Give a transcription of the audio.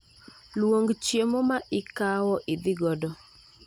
Luong chiemo ma ikawo idhi godo